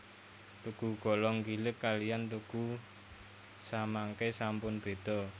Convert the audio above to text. Tugu Golong Gilig kaliyan tugu samangke sampun beda